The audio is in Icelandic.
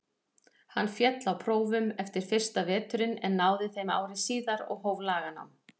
Hann féll á prófum eftir fyrsta veturinn en náði þeim ári síðar og hóf laganám.